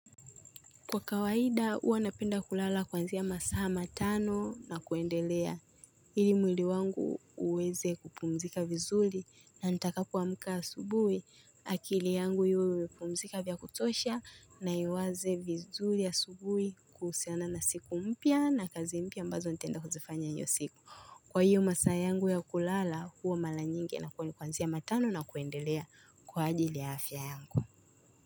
Kwa kawaida huwa napenda kulala kwanzia masaa matano na kuendelea hili mwili wangu uweze kupumzika vizuri na nitakapoamka asubuhi akili yangu iwe imepumzika vya kutosha na iwaze vizuri asubuhi kuhusiana na siku mpya na kazi mpya ambazo nitenda kuzifanya hiyo siku. Kwa hiyo masaa yangu ya kulala huwa mala nyingi na kwanzia matano na kuendelea kwa ajili ya afya yangu.